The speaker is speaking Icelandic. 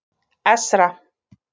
Esra